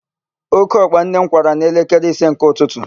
Ókéọkpa nne m kwara n'elekere ise nke ụtụtụ